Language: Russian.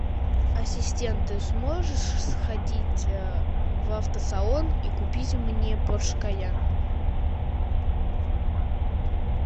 ассистент ты сможешь сходить в автосалон и купить мне порш кайен